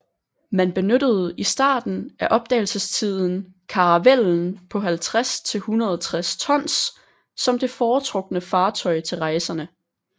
Man benyttede i starten af opdagelsestiden karavellen på 50 til 160 tons som det foretrukne fartøj til rejserne